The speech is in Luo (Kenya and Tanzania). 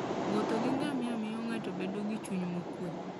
Wuotho gi ngamia miyo ng'ato bedo gi chuny mokwe.